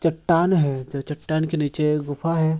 चट्टान है च-च-चट्टान के नीचे गुफा है।